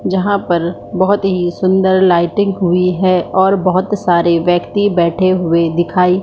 जहाँ पर बहुत ही सुंदर लाइटिंग हुई है और बहुत सारे व्यक्ती बैठे हुए दिखाई--